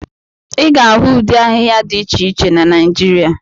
Ị ga-ahụ ụdị ahịhịa dị iche iche na Naijiria.